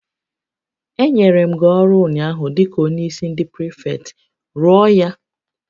Enyere m gị ọrụ ụnyaahụ dịka onyeisi ndị prịfektị, rụọ ya!